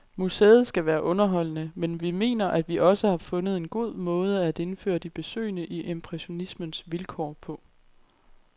Museet skal være underholdende, men vi mener, at vi også har fundet en god måde at indføre de besøgende i impressionismens vilkår på.